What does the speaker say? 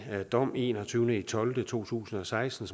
dom en og tyve tolv 2016